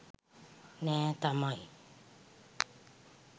නෑ තමයි.